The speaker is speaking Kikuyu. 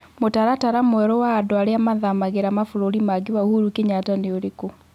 mũtaratara mwerũ wa andũ arĩa mathamagĩra mabũrũri mangĩ wa uhuru kenyatta nĩ ũrĩkũ